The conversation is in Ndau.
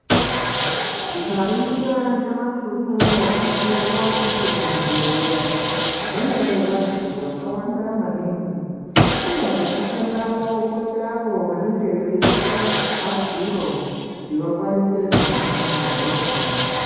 Tikaringira nyamashi unouyu tinoringira kuti kuzvibhedhleya mune vantu vakawanda maningi. Kune vanoshandamo koita avo vanenge veitsvaka rubatsiro kuti vakanise kuhinwa hosha.